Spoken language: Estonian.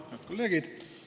Head kolleegid!